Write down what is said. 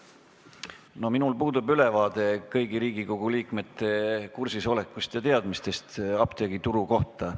No minul puudub ülevaade kõigi Riigikogu liikmete teemaga kursis olekust ja teadmistest apteegituru kohta.